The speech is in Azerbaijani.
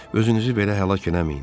Özünüzü belə həlak eləməyin.